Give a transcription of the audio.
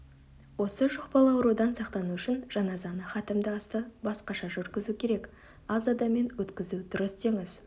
осы жұқпалы аурудан сақтану үшін жаназаны хатімді асты басқаша жүргізу керек аз адаммен өткізу дұрыс деңіз